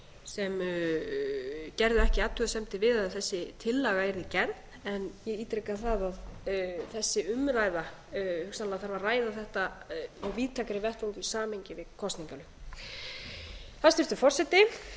sem gerðu ekki athugasemdir við að þessi tillaga yrði gerð en ég ítreka það að þessi umræða sennilega þarf að ræða þetta á víðtækari vettvangi og í samhengi við kosningalög hæstvirtur forseti